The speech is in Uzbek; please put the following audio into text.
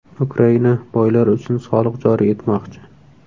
Ukraina boylar uchun soliq joriy etmoqchi.